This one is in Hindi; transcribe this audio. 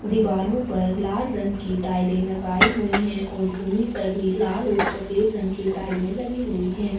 दीवारों पर लाल रंग की टाइले लगाई हुई है और भूमि पर भी लाल और सफ़ेद रंग की टाइले लगी हुई है।